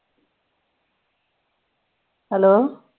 hello